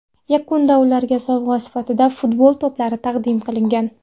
Yakunda ularga sovg‘a sifatida futbol to‘plari taqdim qilingan.